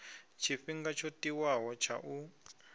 tshifhinga tsho tiwaho tsha u